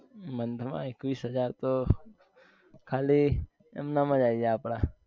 Month માં એકવીસ હજાર તો ખાલી એમનેમ જ આવી જાય આપડા